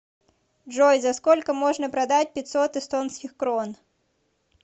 джой за сколько можно продать пятьсот эстонских крон